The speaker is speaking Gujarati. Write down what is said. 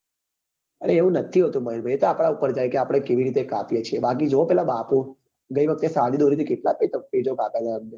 એવું નથી હોતું મારા ભાઈ એ તો આપડા ઉપર જાય કે આપડે કેવી રીતે કાપીએ છીએ બાકી જોવો પેલા બાપુ ગઈ વખતે સાદી દોરી થી કેટલા પેચો કાપ્યા છે એમને